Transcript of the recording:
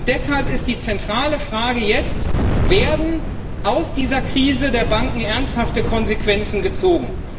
Deshalb ist die zentrale Frage jetzt Werden aus dieser Krise der Banken ernsthafte Konsequenzen gezogen?